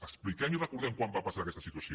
expliquem i recordem quan va passar aquesta situació